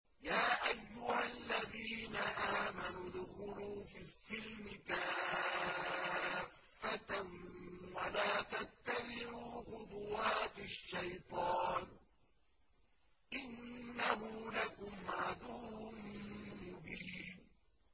يَا أَيُّهَا الَّذِينَ آمَنُوا ادْخُلُوا فِي السِّلْمِ كَافَّةً وَلَا تَتَّبِعُوا خُطُوَاتِ الشَّيْطَانِ ۚ إِنَّهُ لَكُمْ عَدُوٌّ مُّبِينٌ